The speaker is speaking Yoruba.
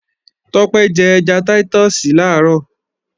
Tọ́pẹ́ jẹ́ ẹja táítọ̀sì làárọ̀